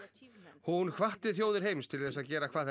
hún hvatti þjóðir heims til þess að gera hvað þær